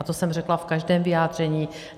A to jsem řekla v každém vyjádření.